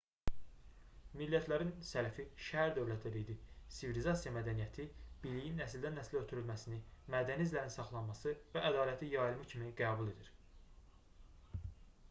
millətlərin sələfi şəhər-dövlətlər idi sivilizasiya mədəniyyəti biliyin nəsildən-nəslə ötürülməsini mədəni izlərin saxlanması və ədalətli yayılma kimi qəbul edir